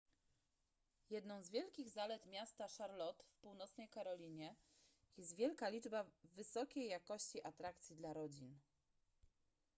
jedną z wielkich zalet miasta charlotte w północnej karolinie jest wielka liczba wysokiej jakości atrakcji dla rodzin